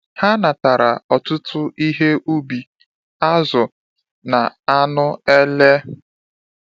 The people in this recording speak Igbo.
Ha natara ọtụtụ ihe ubi, azụ, na anụ ele.